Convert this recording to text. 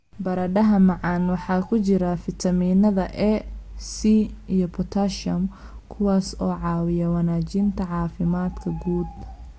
Baradhada macaan waxa ku jira fiitamiinada A, C iyo potassium kuwaas oo caawiya wanaajinta caafimaadka guud.